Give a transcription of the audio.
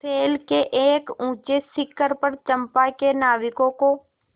शैल के एक ऊँचे शिखर पर चंपा के नाविकों को